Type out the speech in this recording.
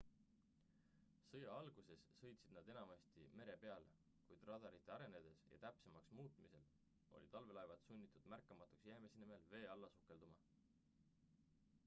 sõja alguses sõitsid nad enamasti mere peal kuid radarite arenedes ja täpsemaks muutumisel olid allveelaevad sunnitud märkamatuks jäämise nimel vee alla sukelduma